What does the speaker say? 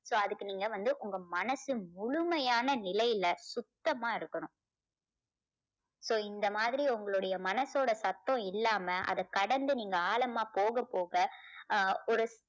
so அதுக்கு நீங்க வந்து உங்க மனசு முழுமையான நிலையில சுத்தமா இருக்கணும் so இந்த மாதிரி உங்களுடைய மனசோட சத்தம் இல்லாம அதை கடந்து நீங்க ஆழமா போக போக அஹ் ஒரு